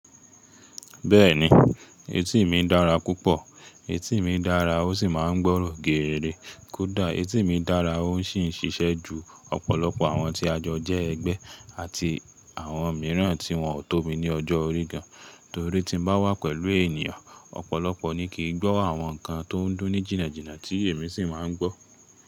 Bẹ́ẹ̀ni, etí mi dára púpọ̀, etí mi dára ó sì máa ń gbọ́rọ̀ geere. Kódà etí mi dára, ó sì ń ṣiṣẹ́ ju ọ̀pọ̀lọpọ̀ àwọn tí a jọ ẹgbẹ́, àti àwọn mìíràn tí wọ́n ò tó mi ní ọjọ́ orí gan, torí tí mo bá wà pẹ̀lú ènìyàn ọ̀pọ̀lọpọ̀ ni kì í gbọ́ àwọn nǹkan tó ń dún ní jìnnàjìnnà tí èmi sì máa ń gbọ́.